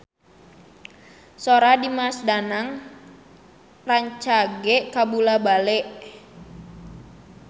Sora Dimas Danang rancage kabula-bale